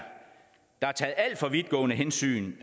taget alt for vidtgående hensyn